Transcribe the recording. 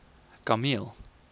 kameel